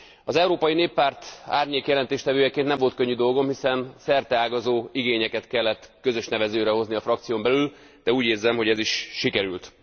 Az Európai Néppárt árnyék jelentéstevőjeként nem volt könnyű dolgom, hiszen szerteágazó igényeket kellett közös nevezőre hozni a frakción belül, de úgy érzem, hogy ez is sikerült.